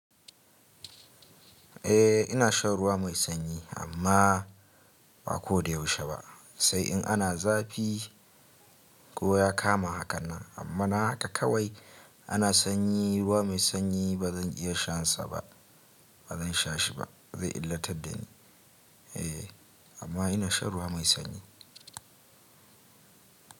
Eh ina shan ruwa mai sanyi amma ba ko da yaushe ba. Sai in ana zafi ko ya kama haka nan amma na haka kawai ana sanyi, ruwa mai sanyi ba zan iya shan ba, bazan shashi ba. Zai illatar dani eh, amma ina shan ruwa mai sanyi.